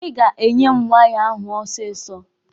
Ị ga-enye m waya ahụ ọsịsọ!